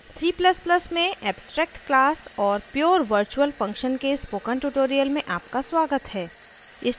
c ++ में abstract class और pure virtual function के spoken tutorial में आपका स्वागत है